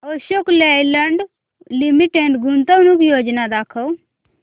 Ashok Leyland limited गुंतवणूक योजना दाखव